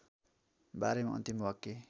बारेमा अन्तिम वाक्य